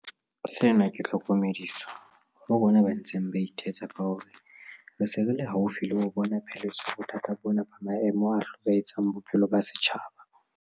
Sena ke tlhokomediso ho rona ba ntseng ba ithetsa ka hore re se re le haufi le ho bona pheletso ya bothata bona ba maemo a hlobae tsang bophelong ba setjhaba.